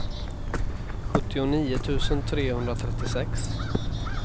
sjuttionio tusen trehundratrettiosex